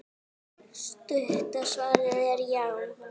Stutta svarið er já!